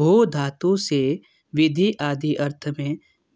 भू धातु से विधि आदि अर्थ में